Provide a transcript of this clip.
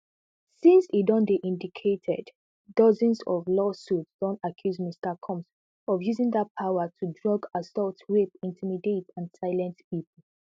since e don dey indicted dozens of lawsuits don accuse mr combs of using dat power to drug assault rape intimidate and silence pipo